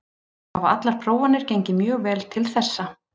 Hafa allar prófanir gengið mjög vel til þessa.